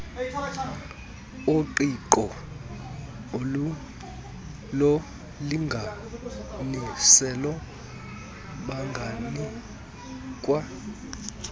oqingqo lolinganiselo banganikwa